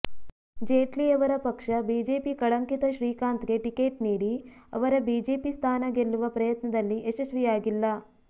ಜೇಟ್ಲಿ ಅವರ ಪಕ್ಷ ಬಿಜೆಪಿ ಕಳಂಕಿತ ಶ್ರೀಕಾಂತ್ಗೆ ಟಿಕೆಟ್ ನೀಡಿ ಅವರ ಬಿಜೆಪಿ ಸ್ಥಾನ ಗೆಲ್ಲುವ ಪ್ರಯತ್ನದಲ್ಲಿ ಯಶಸ್ವಿಯಾಗಿಲ್ಲ